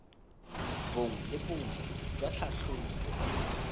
bongwe le bongwe jwa tlhatlhobo